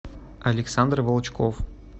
александр волчков